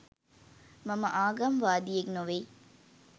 මම ආගම් වාදියෙක් නොවෙයි